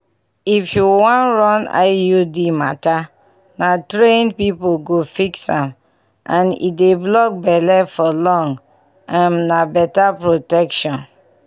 if you wan run iud matter na trained people go fix am and e dey block belle for long um na better protection!